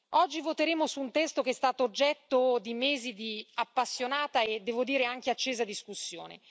Oggi voteremo su un testo che è stato oggetto di mesi di appassionata e devo dire anche accesa discussione.